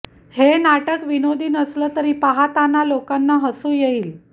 हे नाटक विनोदी नसलं तरी पाहताना लोकांना हसू येईल